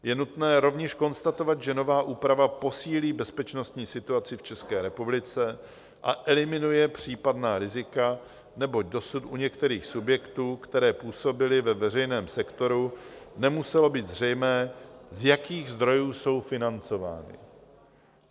Je nutné rovněž konstatovat, že nová úprava posílí bezpečnostní situaci v České republice a eliminuje případná rizika, neboť dosud u některých subjektů, které působily ve veřejném sektoru, nemuselo být zřejmé, z jakých zdrojů jsou financovány.